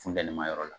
Funteni ma yɔrɔ la